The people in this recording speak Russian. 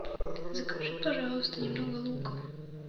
закажи пожалуйста немного лука